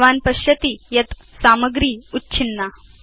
भवान् पश्यति यत् सामग्री उच्छिन्ना